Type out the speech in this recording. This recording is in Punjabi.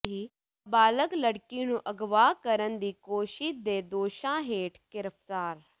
ਨਾਬਾਲਗ ਲੜਕੀ ਨੂੰ ਅਗਵਾ ਕਰਨ ਦੀ ਕੋਸ਼ਿਸ਼ ਦੇ ਦੋਸ਼ਾਂ ਹੇਠ ਗ੍ਰਿਫਤਾਰ